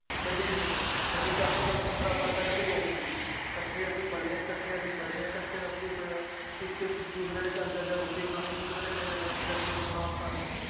ਕਦੇ ਵੀ ਨੀ ਸਾਡੀ ਘੱਟ ਤੋਂ ਘੱਟ ਪੰਦਰਾਂ ਸਾਲ ਪਹਿਲਾਂ ਦੀ ਯਾਰੀ ਸੀਗੀ ਇਕੱਠੇ ਅਸੀਂ ਪਲੇ ਹੈ ਇਕੱਠੇ ਅਸੀਂ ਪੜ੍ਹੇ ਹੈ, ਇਕੱਠੇ ਸਭ ਕੁਛ ਹੋਇਆ ਇੱਕ ਦੂਸਰੇੇ ਦੇ ਘਰ ਜਾ ਜਾ ਰੋਟੀ ਖਾਣੀ ਦੂਸਰੇ ਦੇ ਘਰੇ ਜਾ ਕੇ ਹਫ਼ਤੇ ਹਫ਼ਤੇ ਸੌਣਾ ਆਪਾਂ ਨੇ